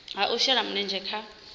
ha u shela mulenzhe kha